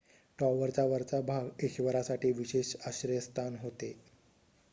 टॉवरचा वरचा भाग ईश्वरासाठी विशेष आश्रयस्थान होते